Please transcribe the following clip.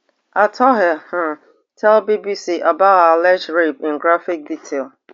atuhaire um tell bbc about her alleged rape in graphic detail